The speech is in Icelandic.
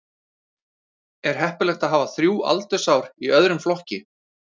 Er heppilegt að hafa þrjú aldursár í öðrum flokki?